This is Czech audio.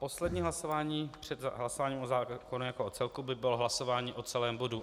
Poslední hlasování před hlasováním o zákonu jako o celku by bylo hlasování o celém bodu